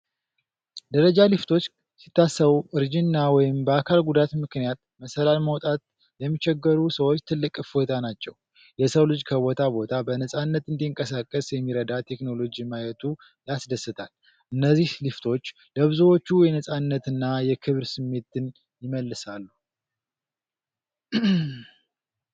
ደረጃ ሊፍቶች ሲታሰቡ እርጅና ወይም በአካል ጉዳት ምክንያት መሰላል መውጣት ለሚቸገሩ ሰዎች ትልቅ እፎይታ ናቸው። የሰው ልጅ ከቦታ ቦታ በነፃነት እንዲንቀሳቀስ የሚረዳ ቴክኖሎጂ ማየቱ ያስደስታል። እነዚህ ሊፍቶች ለብዙዎች የነጻነትና የክብር ስሜትን ይመልሳሉ!